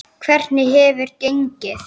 Hvernig hefur gengið?